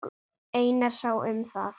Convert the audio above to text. Einar sá um það.